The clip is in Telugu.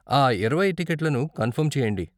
ఆ ఇరవై టిక్కెట్లను కన్ఫర్మ్ చెయ్యండి.